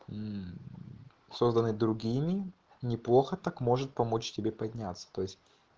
мм созданный другими неплохо так может помочь тебе подняться то есть